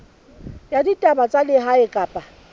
ya ditaba tsa lehae kapa